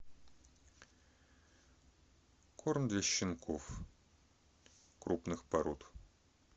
корм для щенков крупных пород